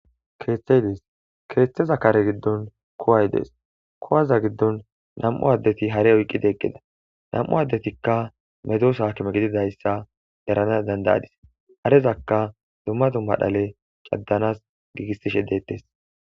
Keeththeyidees keeththeza kare giddon kuway dees kuwaza giddon nam7u addeti hare oyqqide eqqida nam7u addetikka medosaakime gididayssa erana dandayadis harezaka dumma dumma dhale caddanas giigissishe deettes.